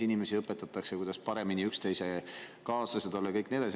Inimesi õpetatakse, kuidas paremini üksteise kaaslased olla ja nii edasi.